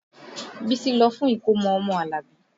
Bísí lọ fún ìkómọ ọmọ Alabi